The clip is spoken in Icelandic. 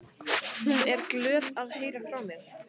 Hún er glöð að heyra frá mér.